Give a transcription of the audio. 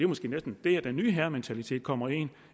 måske næsten der den nye herrementalitet kommer ind